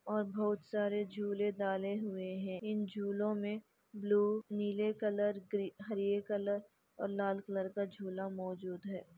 और बहुत सारे झूले डाले हुए है इन झूलों मे ब्लू नीले कलर ग्रीन हरे कलर और लाल कलर का झूला मौजूद है।